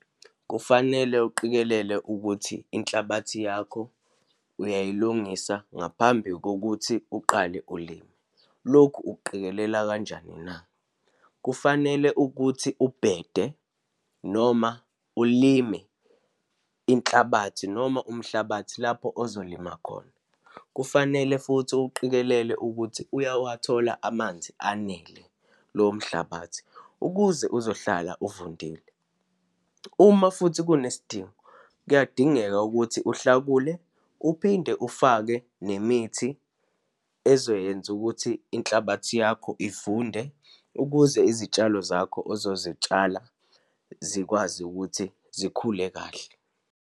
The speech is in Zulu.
Kufanele uqikelele ukuthi inhlabathi yakho uyayilungisa ngaphambi kokuthi uqale ulime. Lokhu ukuqikelela kanjani na? Kufanele ukuthi ubhede, noma ulime inhlabathi, noma umhlabathi lapho ozolimala khona. Kufanele futhi uqikelele ukuthi uyawathola amanzi anele lowo mhlabathi ukuze uzohlala uvundile. Uma futhi kunesidingo, kuyadingeka ukuthi uhlakule, uphinde ufake nemithi ezoyenza ukuthi inhlabathi yakho ivunde ukuze izitshalo zakho azozitshala zikwazi ukuthi zikhule kahle.